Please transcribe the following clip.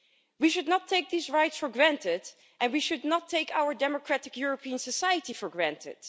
We should not take these rights for granted, and we should not take our democratic European society for granted.